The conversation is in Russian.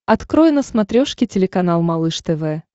открой на смотрешке телеканал малыш тв